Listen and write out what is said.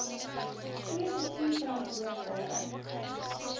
goeie bestuur verantwoordbare